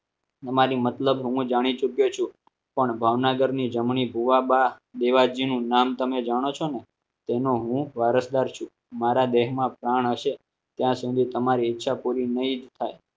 તમારી મતલબ હું જાણી ચૂક્યો છું પણ ભાવનગરની જમણી ભુવાબા દેવાજી નું નામ તમે જાણો છો ને તેનો હું વારસદાર છું. મારા દેશમાં પ્રાણ હશે ત્યાં સુધી તમારી ઈચ્છા પૂરી નહીં થાય